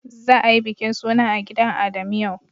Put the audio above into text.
Za a yi bikin suna a gidan Adamu yau.